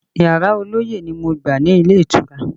Yàrá ọlọ́yẹ́ ni mo gbà ní ilé ìtura